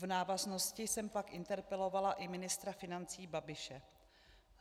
V návaznosti jsem pak interpelovala i ministra financí Babiše.